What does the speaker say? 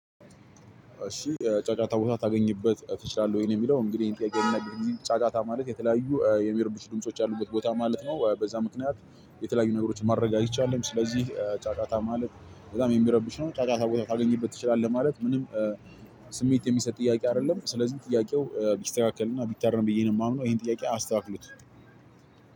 እሺ ጫጫታ ቦታ ታገኝበት ትችላለህ? ወይ የሚለው እንግዲህ ጫጫታ ማለት የተለያዩ የሚርብሹ ድምጾች ያሉበት ቦታ ማለት ነው። በዛ ምክንያት የተለያዩ ነገሮችን ማድረግ አይቻልም። ስለዚህ ጫጫታ ማለት በጣም የሚረብሽ ነው። ጫጫታ ቦታ ታገኝበት ትችላለህ? ማለት ምንም ስሜት የሚሰጥ ጥያቄ አይደለም። ስለዚህ ጥያቄው ቢስተካከል እና ቢታርም ነው ብዬ የማምነው ይሄን ጥያቄ አስተካክሉት።